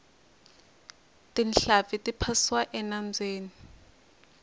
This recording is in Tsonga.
tinhlampfi ti phasiwa enambyeni